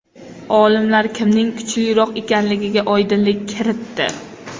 Olimlar kimning kuchliroq ekanligiga oydinlik kiritdi.